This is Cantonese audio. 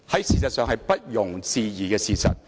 事實上，這是不容置疑的事實。